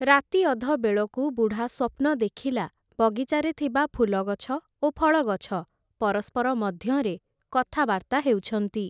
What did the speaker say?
ରାତି ଅଧ ବେଳକୁ, ବୁଢ଼ା ସ୍ଵପ୍ନ ଦେଖିଲା, ବଗିଚାରେ ଥିବା ଫୁଲଗଛ, ଓ ଫଳଗଛ ପରସ୍ପର ମଧ୍ୟରେ କଥାବାର୍ତ୍ତା ହେଉଛନ୍ତି ।